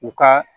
U ka